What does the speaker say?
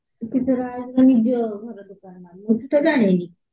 ନିଜ ଘର ଦୋକାନ ନା କଣ କେଜାଣି